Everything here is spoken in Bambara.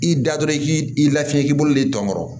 I da dɔrɔn i k'i i lafiya k'i bolo dɔnkɔrɔ